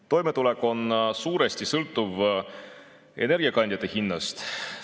Toimetulek on suuresti sõltuv energiakandjate hinnast.